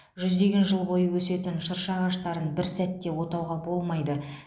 жүздеген жыл бойы өсетін шырша ағаштарын бір сәтте отауға болмайды